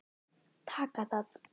Taka það?